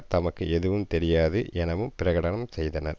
தமக்கு எதுவும் தெரியாது எனவும் பிரகடனம் செய்தனர்